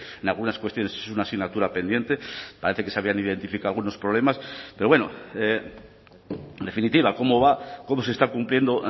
en algunas cuestiones es una asignatura pendiente parece que se habían identificado algunos problemas pero bueno en definitiva cómo va cómo se está cumpliendo o